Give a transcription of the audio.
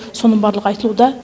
соның барлығы айтылуда